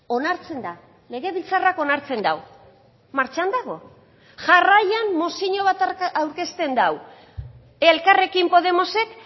onartzen da legebiltzarrak onartzen du martxan dago jarraian mozio bat aurkezten du elkarrekin podemosek